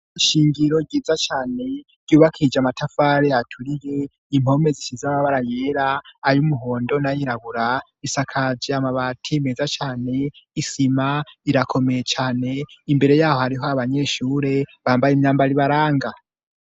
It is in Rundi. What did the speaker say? Ishingiro ryiza cyane ryubakija amatafare aturiye impome zishiz amabara yera ay umuhondo na yirabura isakaje amabati meza cyane isima irakomeye cyane imbere yaho hariho abanyeshure bambaye imyambaro ibaranga.